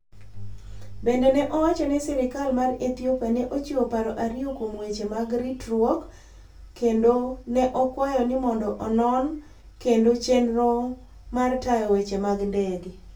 Bende ne owacho ni sirkal mar Ethiopia ne ochiwo paro ariyo kuom weche mag ritruok kendo ne okwayo ni mondo onon kendo chenro mar tayo weche mag ndege.